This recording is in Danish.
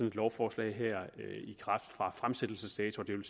et lovforslag her i kraft fra fremsættelsesdatoen